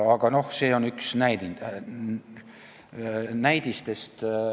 Aga see on lihtsalt üks näidetest.